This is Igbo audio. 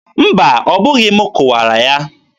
mba, ọ bụghị m kụwara ya.